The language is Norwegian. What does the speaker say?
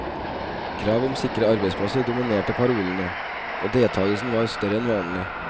Krav om sikre arbeidsplasser dominerte parolene, og deltagelsen var større enn vanlig.